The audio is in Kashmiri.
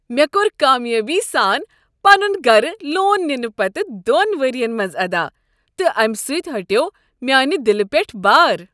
مےٚ کوٚر کامیٲبی سان پنن گرٕ لون ننہٕ پتہٕ دۄن ؤرین منٛز ادا تہٕ امہ سۭتۍ ہٹیوو میانہ دِلہ پٮ۪ٹھ بار۔